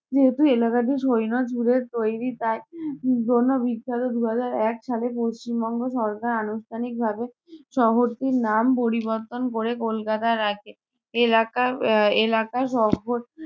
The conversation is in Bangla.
যেহেতু এলাকাটি তৈরী তাই আহ জন্য বিখ্যাত। দু হাজার এক সালে পশ্চিমবঙ্গ সরকার আনুষ্ঠানিকভাবে শহরটির নাম পরিবর্তন করে কলকাতা রাখে। এলাকা আহ এলাকা